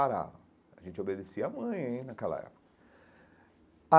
Parava a gente obedecia a mãe naquela época.